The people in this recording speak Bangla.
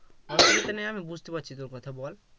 বুঝতে পারছি তোর কথা বল